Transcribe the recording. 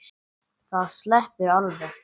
Það sleppur alveg.